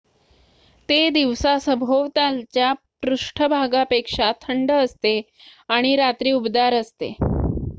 """ते दिवसा सभोवतालच्या पृष्ठभागापेक्षा थंड असते आणि रात्री उबदार असते.